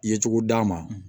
Yecogo d'a ma